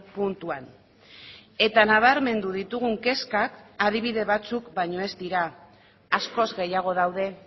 puntuan eta nabarmendu ditugun kezkak adibide batzuk baino ez dira askoz gehiago daude